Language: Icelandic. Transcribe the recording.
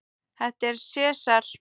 Þetta er Sesar.